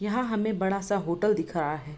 यहां हमें बड़ा-सा होटल दिख रहा है।